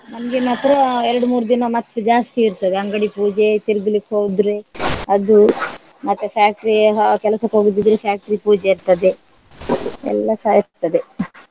ನಮ್ಗೆ ಮಾತ್ರ ಎರಡು ಮೂರು ದಿನ ಮತ್ತೆ ಜಾಸ್ತಿ ಇರ್ತದೆ ಅಂಗಡಿ ಪೂಜೆ ತಿರ್ಗ್ಲಿಕ್ಕೆ ಹೋದ್ರೆ ಅದು ಮತ್ತೆ factory ಹಾ ಕೆಲಸಕ್ಕೆ ಹೋಗುದಿದ್ರೆ factory ಪೂಜೆ ಇರ್ತದೆ ಎಲ್ಲಸ ಇರ್ತದೆ.